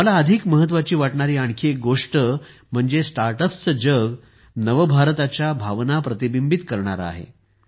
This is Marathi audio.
मला अधिक महत्त्वाची वाटणारी आणखी एक गोष्ट म्हणजे स्टार्टअप्सचे जग नव भारताच्या भावना प्रतिबिंबित करणारे आहे